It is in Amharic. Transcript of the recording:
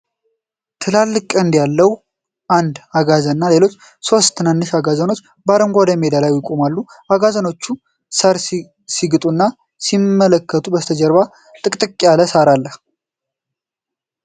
ትላልቅ ቀንድ ያለው አንድ አጋዘንና ሌሎች ሶስት ትናንሽ አጋዘኖች በአረንጓዴ ሜዳ ላይ ይቆማሉ። አጋዘኖቹ ሳር ሲግጡና ሲመለከቱ ከበስተጀርባ ጥቅጥቅ ያለ ሳር አለ።